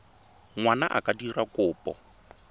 ngwana a ka dira kopo